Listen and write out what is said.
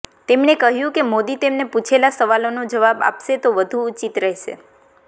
તેમણે કહ્યું કે મોદી તેમને પૂછેલા સવાલોનો જવાબ આપશે તો વધુ ઉચિત રહેશે